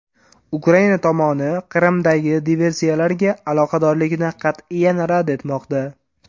Ukraina tomoni Qrimdagi diversiyalarga aloqadorlikni qat’iyan rad etmoqda.